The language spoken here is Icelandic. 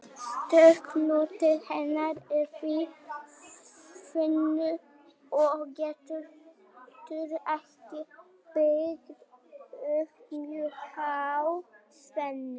Stökki hluti hennar er því þunnur og getur ekki byggt upp mjög háa spennu.